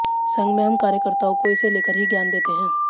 संघ में हम कार्यकर्ताओं को इसे लेकर ही ज्ञान देते हैं